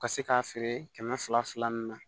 Ka se k'a feere kɛmɛ fila ni na